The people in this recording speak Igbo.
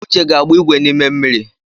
Uche ga-agba ìgwè n’ime mmiri